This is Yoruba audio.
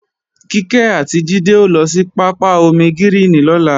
Kíkẹ́ àti Jídé ó lọ sí pápá ómígíríìnì lọ́la